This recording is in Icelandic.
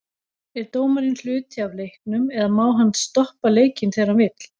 Er dómarinn hluti af leiknum eða má hann stoppa leikinn þegar hann vill?